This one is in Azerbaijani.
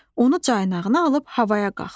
Onu caynağına alıb havaya qalxdı.